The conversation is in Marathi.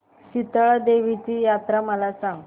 शितळा देवीची जत्रा मला सांग